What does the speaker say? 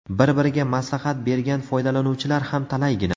Bir-biriga maslahat bergan foydalanuvchilar ham talaygina.